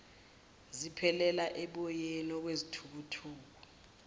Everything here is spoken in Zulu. ziphelela oboyeni okwezithukuthuku